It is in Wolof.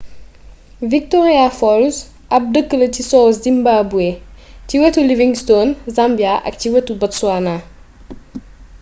victoria falls ab deekla ci sow zimbabwe ci wétu livingstone zambia ak ci wétu botswana